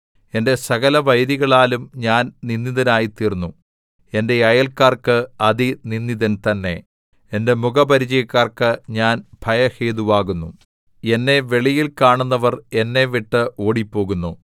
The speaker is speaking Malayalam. എന്റെ സകലവൈരികളാലും ഞാൻ നിന്ദിതനായിത്തീർന്നു എന്റെ അയല്ക്കാർക്ക് അതിനിന്ദിതൻ തന്നെ എന്റെ മുഖപരിചയക്കാർക്ക് ഞാൻ ഭയഹേതുവാകുന്നു എന്നെ വെളിയിൽ കാണുന്നവർ എന്നെ വിട്ട് ഓടിപ്പോകുന്നു